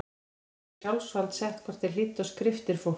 Prestum var í sjálfsvald sett hvort þeir hlýddu á skriftir fólks.